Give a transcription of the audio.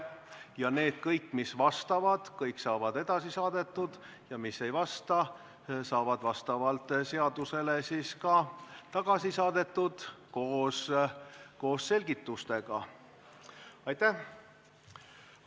Kõik need, mis vastavad, saavad edasi saadetud ja need, mis ei vasta, saavad vastavalt seadusele koos selgitustega tagasi saadetud.